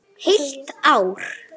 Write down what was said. Og þagað.